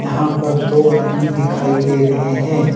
यहां पर दो आदमी दिखाई दे रहे हैं।